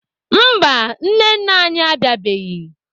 Mba, nne nna anyị abịabeghị.